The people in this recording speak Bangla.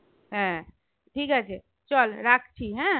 হ্যাঁ ঠিকাছে চল রাখছি হ্যাঁ হ্যাঁ